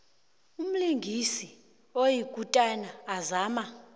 umlingisi oyikutani azama